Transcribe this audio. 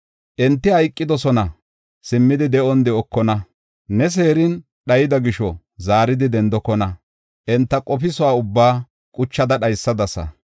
Enti hayqidosona; simmidi de7on dookona. Ne seerin dhayida gisho, zaaridi dendokona. Enta qofisuwa ubbaa quchada dhaysadasa.